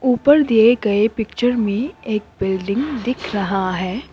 ऊपर दिए गए पिक्चर में एक बिल्डिंग दिख रहा है।